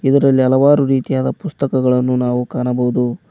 ಇದರಲ್ಲಿ ಹಲವಾರು ರೀತಿಯಾದ ಪುಸ್ತಕಗಳನ್ನು ನಾವು ಕಾಣಬಹುದು.